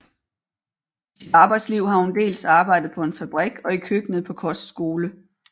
I sit arbejdsliv har hun dels arbejdet på en fabrik og i køkkenet på kostskole